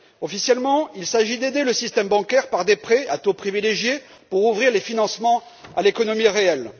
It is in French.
Officiellement, il s'agit d'aider le système bancaire, par des prêts à taux privilégiés, afin d'ouvrir les financements à l'économie réelle.